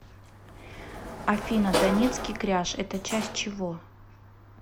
афина донецкий кряж это часть чего